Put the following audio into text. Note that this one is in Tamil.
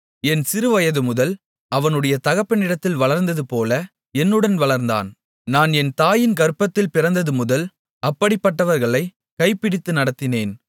என் சிறுவயதுமுதல் அவனுடைய தகப்பனிடத்தில் வளர்வதுபோல என்னுடன் வளர்ந்தான் நான் என் தாயின் கர்ப்பத்தில் பிறந்ததுமுதல் அப்படிப்பட்டவர்களை கைபிடித்து நடத்தினேன்